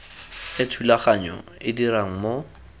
e thulaganyo e dirang mo